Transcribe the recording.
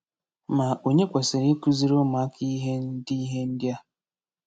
Ma onye kwesịrị ịkụziri ụmụaka ihe ndị ihe ndị a?